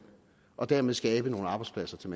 og dermed skabe nogle arbejdspladser til